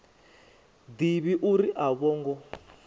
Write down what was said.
ḓivhi uri a vho ngo